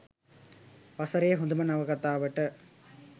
වසරේ හොඳම නවකතාවට